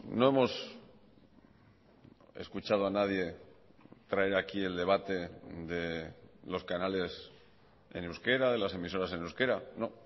no hemos escuchado a nadie traer aquí el debate de los canales en euskera de las emisoras en euskera no